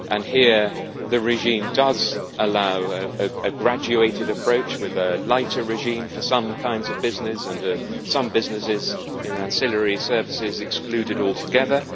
Here the regime does allow a graduated approach, with a lighter regime for some kinds of business and some businesses in ancillary services excluded altogether.